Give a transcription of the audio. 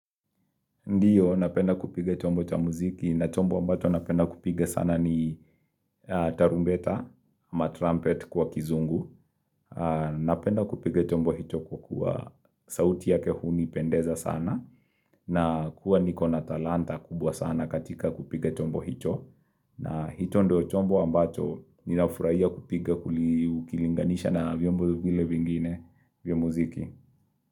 Ndiyo, napenda kupige chombo cha muziki, na chombo ambacho napenda kupiga sana ni tarumbeta ama trumpet kwa kizungu, napenda kupiga chombo hicho kwa kuwa sauti yake hunipendeza sana, na kuwa niko na talanta kubwa sana katika kupiga chombo hicho, na hicho ndio chombo ambacho ninafurahia kupige kuli ukilinganisha na vyombo vile vingine vya muziki.